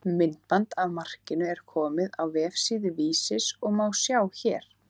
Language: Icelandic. Myndband af markinu er komið á vefsíðu Vísis og má sjá hér.